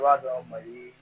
I b'a dɔn mali